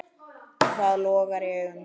Það logar í augum þínum.